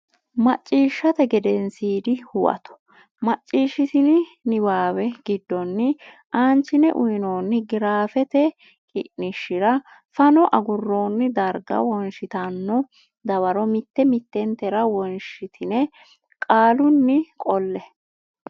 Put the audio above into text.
Macciishshate Gedensiidi Huwato Macciishshitini niwaawe giddonni aanchine uynoonni giraafete qiniishshira fano agurroonni darga wonshitanno dawaro mitte mittentera wonshitine qaalunni qolle.